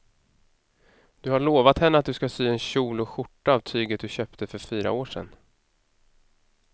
Du har lovat henne att du ska sy en kjol och skjorta av tyget du köpte för fyra år sedan.